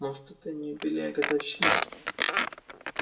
может это и не юбилей а годовщина